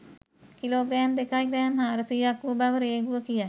kilogram දෙකයි gram හාරසීයක් වු බව රේගුව කියයි